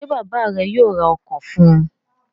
Ṣé bàbá rẹ̀ yóò ra ọkọ̀ fún un?